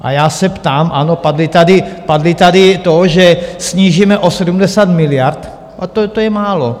A já se ptám: Ano, padlo tady to, že snížíme o 70 miliard, a to je málo.